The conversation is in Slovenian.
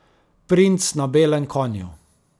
Princ na belem konju.